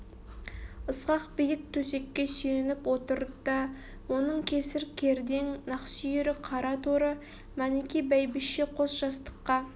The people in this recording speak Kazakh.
ысқақ биік төсекке сүйеніп отыр да оның кесір кердең нақсүйері қара торы мәніке бәйбіше қос жастыққа